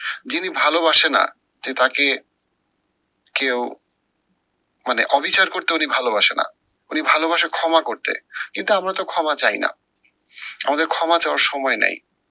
যিনি ভালোবাসে না যে তাকে কেউ মানে অবিচার করতে উনি ভালোবাসে না। উনি ভালোবাসে ক্ষমা করতে। কিন্তু আমরা তো ক্ষমা চাইনা, আমাদের ক্ষমা চাওয়ার সময় নাই।